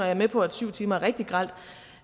er med på at syv timer er rigtig grelt